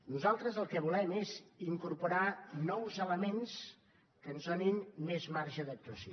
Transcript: nosaltres el que volem és incorporar nous elements que ens donin més marge d’actuació